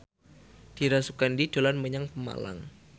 Dira Sugandi dolan menyang Pemalang